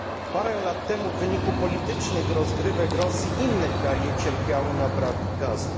Parę lat temu, w wyniku politycznych rozgrywek Rosji, inne kraje cierpiały na brak gazu.